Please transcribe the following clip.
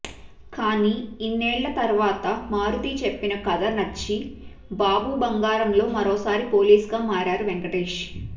కానీ ఇన్నేళ్ల తర్వాత మారుతి చెప్పిన కథ నచ్చి బాబు బంగారంలో మరోసారి పోలీస్ గా మారారు వెంకటేశ్